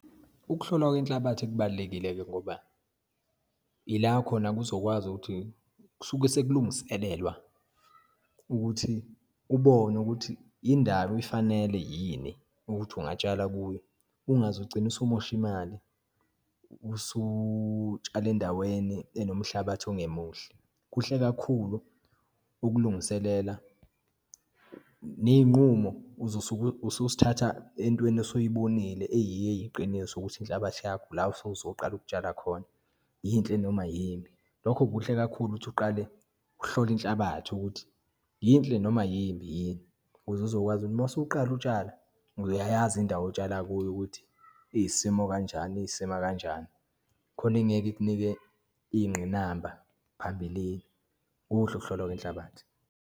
Ukuhlolwa kwenhlabathi kubalulekile-ke ngoba, ila khona kuzokwazi ukuthi kusuke sekulungiselelwa ukuthi kubonwe ukuthi indawo ifanele yini ukuthi ungatshala kuyo, ungaze ugcine usumosha imali usutshala endaweni enomhlabathi ongemuhle. Kuhle kakhulu ukulungiselela neyinqumo uzosuke ususithatha entweni osoyibonile eyiyo eyiqiniso ukuthi inhlabathi yakho la osuke uzoqala ukutshala khona, yinhle noma yimbi. Lokho kuhle kakhulu ukuthi uqale uhlole inhlabathi ukuthi yinhle noma yimbi yini, ukuze uzokwazi uma usuqala utshala, uyayazi indawo otshala kuyo, ukuthi iyisimo kanjani, iyisima kanjani khona ingeke ikunike iyingqinamba phambilini. Kuhle ukuhlolwa kwenhlabathi.